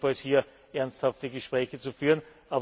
jedenfalls hier ernsthafte Gespräche zu führen.